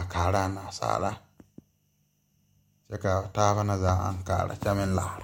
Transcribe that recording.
a kaaraa naasaalaa kyɛ kaa taaba na zaa aŋ kaara kyɛ meŋ laara.